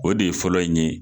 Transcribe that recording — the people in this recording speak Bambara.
O de ye fɔlɔ in ye.